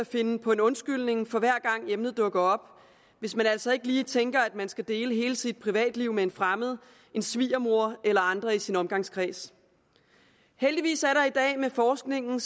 finde på en undskyldning hver gang emnet dukker op hvis man altså ikke lige tænker at man skal dele hele sit privatliv med en fremmed en svigermor eller andre i sin omgangskreds heldigvis er det i dag med forskningen